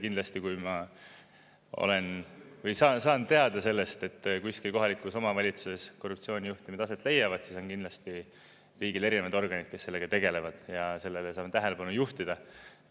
Kindlasti, kui ma saan teada sellest, et kuskil kohalikus omavalitsuses korruptsioonijuhtumid aset leiavad, siis on kindlasti riigil erinevad organid, kes sellega tegelevad ja sellele saame tähelepanu juhtida.